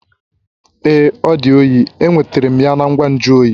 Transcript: Ee, ọ di oyi. Enwetara m ya na ngwa nju oyi